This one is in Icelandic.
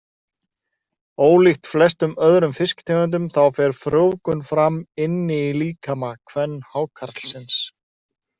Ólíkt flestum öðrum fisktegundum þá fer frjóvgun fram inni í líkama kvenhákarlsins.